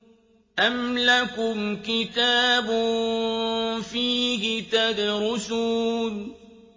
أَمْ لَكُمْ كِتَابٌ فِيهِ تَدْرُسُونَ